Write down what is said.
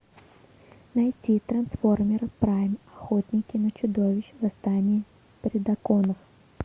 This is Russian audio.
найти трансформеры прайм охотники на чудовищ восстание предаконов